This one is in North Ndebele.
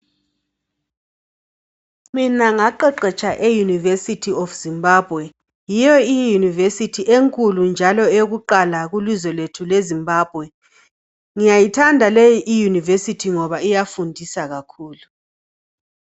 Mina ngaqeqetsha e"University of Zimbabwe " .Yiyo i"University" enkulu njalo eyakuqala kulizwe lethu leZimbabwe. Ngiyayithanda leyi i"University" ngoba iyafundisa kakhulu.